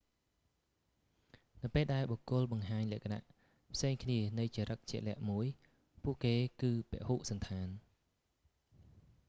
នៅពេលដែលបុគ្គលបង្ហាញលក្ខណៈផ្សេងគ្នានៃចរិតជាក់លាក់មួយ ពួកគេគឺពហុសណ្ឋាន